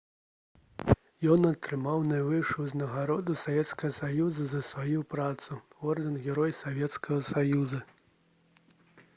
ён атрымаў найвышэйшую ўзнагароду савецкага саюза за сваю працу — ордэн «герой савецкага саюза»